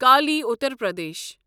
Kali Uttar Pradesh